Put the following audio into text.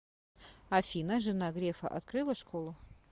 афина жена грефа открыла школу